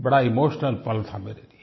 बड़ा इमोशनल पल था मेरे लिये